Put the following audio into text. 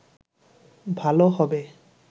ভালো হবে